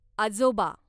आजोबा